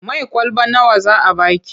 Mai kwalaba nawa za a ba ki?